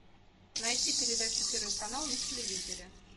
найти передачу первый канал на телевизоре